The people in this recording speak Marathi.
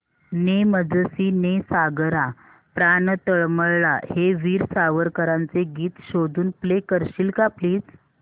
ने मजसी ने सागरा प्राण तळमळला हे वीर सावरकरांचे गीत शोधून प्ले करशील का प्लीज